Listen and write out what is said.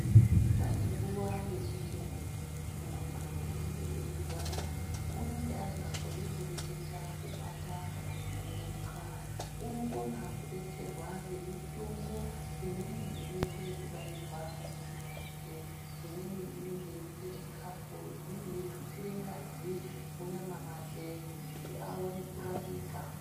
Pane nguwa yekuti muntu unenge eirwara unenge asikakoni kureketa ,kubata kana kumuruka unokona kudetserwa ngemitombo imweni inoite kubairwa munyama make ,imweni inenge yeiunze chikafu, imweni yeitutsire ngazi munyama make kuti aone kurapika.